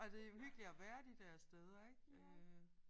Altså det jo hyggeligt at være de der steder ik øh